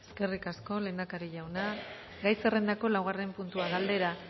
eskerrik asko lehendakari jauna gai zerrendako laugarren puntua galdera